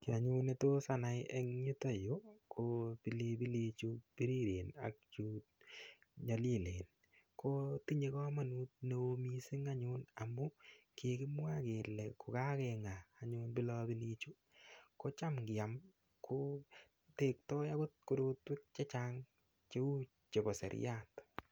Kii anyun netos anai eng' yutoyu ko pilipili chu piriren ak chu nyolilen ko tinyei komonut ne oo mising' anyun amun kikimwa kele kukakeng'a anyun pilopilichu kocham kiam kotektoi akot korotwek chechang' cheu chebo seriat